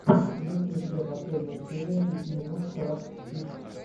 есть ли у тебя последняя серия пяти минут крафтс кидс